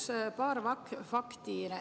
Ma toon paar fakti.